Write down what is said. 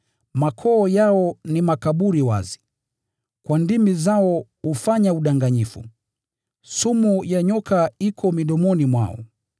“Makoo yao ni makaburi wazi; kwa ndimi zao wao hufanya udanganyifu.” “Sumu ya nyoka iko midomoni mwao.”